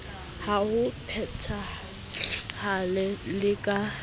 ka ho phethahala le ka